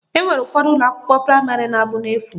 Enwere ụfọdụ ụlọakwụkwọ praịmarị na-abụ n'efu